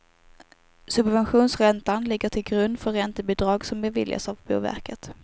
Subventionsräntan ligger till grund för räntebidrag som beviljas av boverket.